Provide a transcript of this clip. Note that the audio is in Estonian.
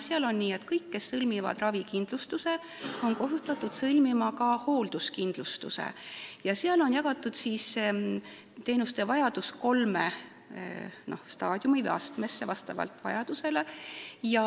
Seal on nii, et kõik, kes sõlmivad ravikindlustuse, on kohustatud sõlmima ka hoolduskindlustuse ning teenusevajadus on jagatud kolme astmesse.